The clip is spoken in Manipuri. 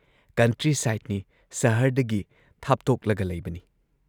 ꯀꯟꯇ꯭ꯔꯤ ꯁꯥꯏꯠꯅꯤ ꯁꯍꯔꯗꯒꯤ ꯊꯥꯞꯇꯣꯛꯂꯒ ꯂꯩꯕꯅꯤ ꯫